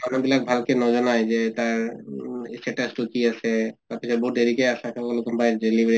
মানুহ বিলাক ভালকে নিজনায় যে তাৰ উ status তো কি আছে, তাৰ পিছত বহুত দেৰিকে ASHA সকলক কোনোবাই